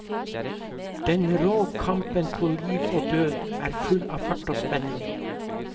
Den rå kampen på liv og død er full av fart og spenning.